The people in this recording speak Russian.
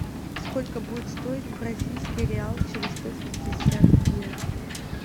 сколько будет стоить бразильский реал через сто пятьдесят дня